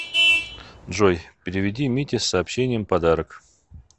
джой переведи мите с сообщением подарок